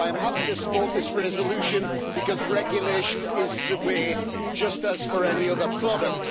I am happy to support this resolution because regulation is the way, just as for any other product.